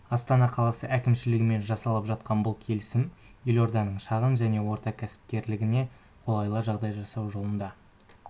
астана қаласы әкімшілігімен жасалып жатқан бұл келісім елорданың шағын және орта кәсіпкерлігіне қолайлы жағдай жасау жолында